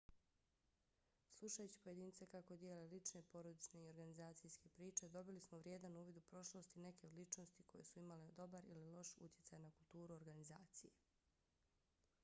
slušajući pojedince kako dijele lične porodične i organizacijske priče dobili smo vrijedan uvid u prošlost i neke od ličnosti koje su imale dobar ili loš utjecaj na kulturu organizacije